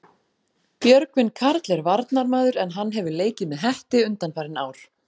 Björgvin Karl er varnarmaður en hann hefur leikið með Hetti undanfarin ár.